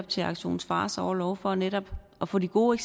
til aktion fars orlov for netop at få de gode